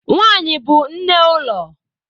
Nwanyi bu nne ulo.